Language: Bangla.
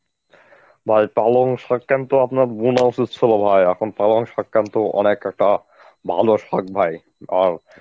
ভাই পালং শাক কিন্তু আপনার বুনা উচিত ছিল ভাই, এখন পালং শাক কিন্তু অনেকটা ভালো শাক ভাই আর